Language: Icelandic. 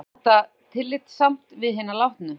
Og er þetta tillitssamt við hina látnu?